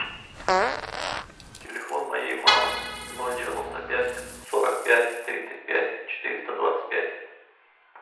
телефон моей мамы ноль девяносто пять сорок пять тридцать пять четыреста двадцать пять